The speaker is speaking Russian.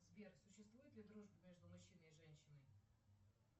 сбер существует ли дружба между мужчиной и женщиной